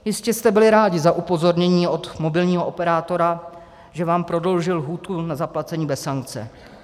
Jistě jste byli rádi za upozornění od mobilního operátora, že vám prodloužil lhůtu na zaplacení bez sankce.